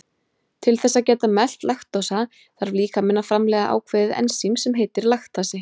Til þess að geta melt laktósa þarf líkaminn að framleiða ákveðið ensím sem heitir laktasi.